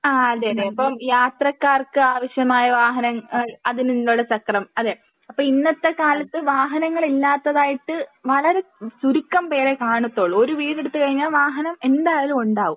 ആഹ് അതെ അതെ പിന്നെ ഈ ഇപ്പം യാത്രക്കാർക്ക് ആവശ്യമായ വാഹനം അതിൽ നിന്നുള്ള ചക്രം അതെ അപ്പൊ ഇന്നത്തെ കാലത്ത് വാഹനങ്ങൾ ഇല്ലാത്തതായിട്ട് വളരെ ചുരുക്കം പേരെ കാണുത്തോള്ളൂ. ഒരു വീട് എടുത്ത് കഴിഞ്ഞാൽ വാഹനം എന്തായാലും ഉണ്ടാവും.